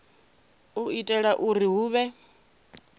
u itela uri hu vhe